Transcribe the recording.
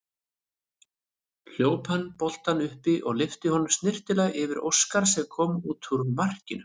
Hljóp hann boltann upp og lyfti honum snyrtilega yfir Óskar sem kom út úr markinu.